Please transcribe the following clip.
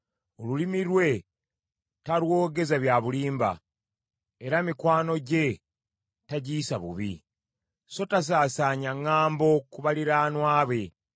Olulimi lwe talwogeza bya bulimba, era mikwano gye tagiyisa bubi, so tasaasaanya ŋŋambo ku baliraanwa be.